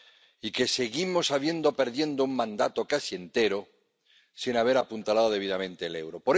y que seguimos habiendo perdido un mandato casi entero sin haber apuntalado debidamente el euro.